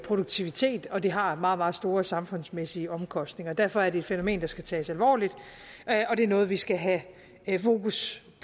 produktivitet og det har meget meget store samfundsmæssige omkostninger derfor er det et fænomen der skal tages alvorligt og det er noget vi skal have fokus